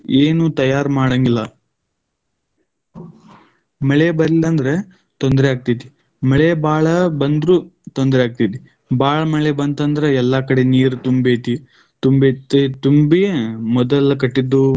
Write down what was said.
ಏನು ತಯಾರು ಮಾಡಂಗಿಲ್ಲ ಮಳೆ ಬರ್ಲಿಲ್ಲ ಅಂದ್ರ ತೊಂದರೆ ಆಗ್ತೈತಿ. ಮಳೆ ಭಾಳ ಬಂದ್ರು ತೊಂದ್ರೆ ಆಗ್ತೈತೆ ಭಾಳ ಮಳೆ ಬಂತಂದ್ರ ಎಲ್ಲಾ ಕಡೆ ನೀರ್ ತುಂಬ್ತೈತಿ. ತುಂಬೈತಿ ತುಂಬಿ, ಮೊದಲ ಕಟ್ಟಿದ್ದು.